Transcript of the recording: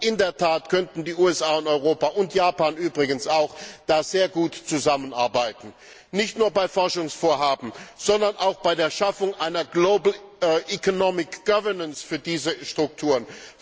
In der Tat könnten die USA, Europa und übrigens auch Japan, da sehr gut zusammenarbeiten, nicht nur bei Forschungsvorhaben, sondern auch bei der Schaffung einer global economic governance für diese Strukturen.